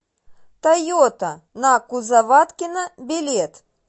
тойота на кузоваткина билет